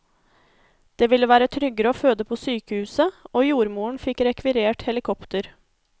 Det ville være tryggere å føde på sykehuset, og jordmoren fikk rekvirert helikopter.